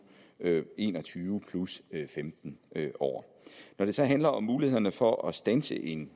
en og tyve plus femten år når det så handler om mulighederne for at standse en